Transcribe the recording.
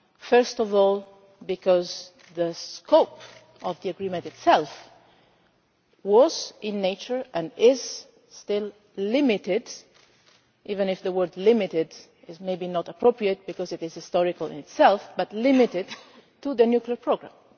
First of all because the scope of the agreement itself, by its nature, was, and is still, limited even if the word limited' is maybe not appropriate because it is historical in itself but limited to the nuclear programme.